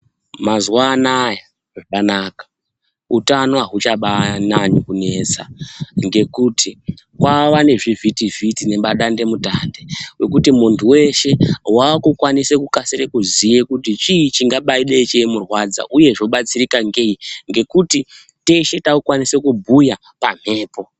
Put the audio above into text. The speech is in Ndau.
Mazuva anaya zvakanaka utano haubachanyanyi kunetsa ngekuti kwava ngezvivhiti-vhiti ngemadande mutande. Ng ekuti muntu veshe vakukwanise kukasire kuziye kuti chii chingabaide chemurwadza, uye zvobatsirika ngei ngekuti teshe takukwanise kubhuya pamhepo.